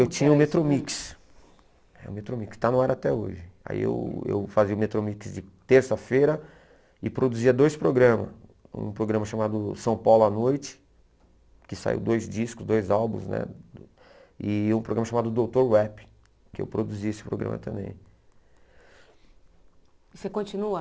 Eu tinha o Metromix tinha o Metromix Está no ar até hoje Aí eu eu fazia o Metromix de terça-feira E produzia dois programas Um programa chamado São Paulo à Noite Que saiu dois discos Dois álbuns né E um programa chamado Doutor Rap Que eu produzia esse programa também Você continua